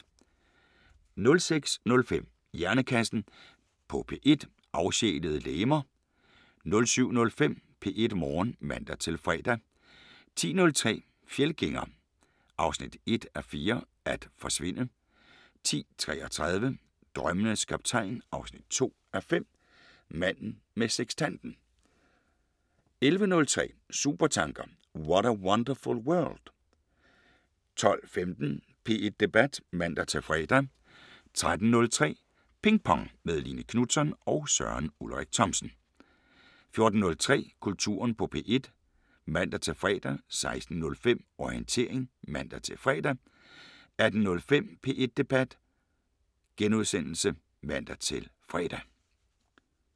06:05: Hjernekassen på P1: Afsjælede legemer 07:05: P1 Morgen (man-fre) 10:03: Fjeldgænger 1:4 – At forsvinde 10:33: Drømmenes Kaptajn 2:5 – Manden med sekstanten 11:03: Supertanker: What a wonderful world? 12:15: P1 Debat (man-fre) 13:03: Ping Pong – med Line Knutzon og Søren Ulrik Thomsen 14:03: Kulturen på P1 (man-fre) 16:05: Orientering (man-fre) 18:05: P1 Debat *(man-fre)